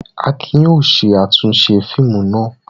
Akin yóò ṣe àtúnṣe fíìmù náà.